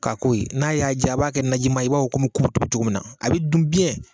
K'a ko ye, n'a y'a diya a b'a kɛ naji man ye i b'a fɔ kɔmi kuto cogo min na. A bɛ dun